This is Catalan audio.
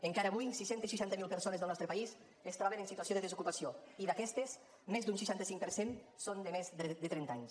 encara avui sis cents i seixanta miler persones del nostre país es troben en situació de desocupació i d’aquestes més d’un seixanta cinc per cent són de més de trenta anys